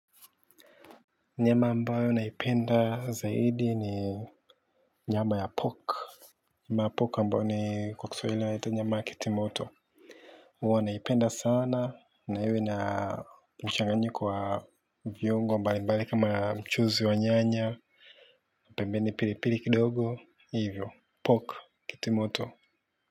Nyama ambayo naipenda zaidi ni nyama ya pork. Nyama ya pork ambayo ni kwa kiswahili waita nyama ya kitimoto huwa naipenda sana na iwe na mchanganyiko wa viongo mbali mbali kama mchuzi wa nyanya pembeni pili pili kidogo hivyo pork kitimoto.